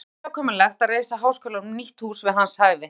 Það verður óhjákvæmilegt að reisa háskólanum nýtt hús við hans hæfi.